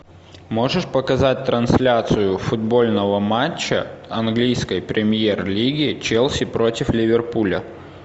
можешь показать трансляцию футбольного матча английской премьер лиги челси против ливерпуля